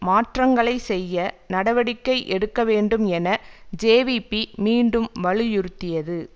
மாற்றங்களை செய்ய நடவடிக்கை எடுக்க வேண்டும் என ஜேவிபி மீண்டும் வலியுறுத்தியது